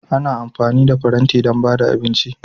Ana amfani da faranti don ba da abinci